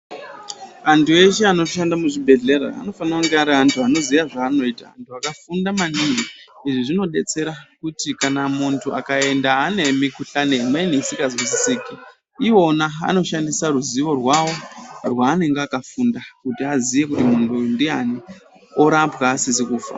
Antu eshe anoshande muzvibhedhlera anofane kunge ari antu anoziye zvaanoita akafunda maningi, izvi zvinodetsera kuti kana muntu akaenda anemikhuhlane imweni isikazwisisiki, iwona anoshandisa ruzivo rwavo rweanenge akafunda kuti aziye kuti muntu uyu ndiani, orapwa asizi kufa.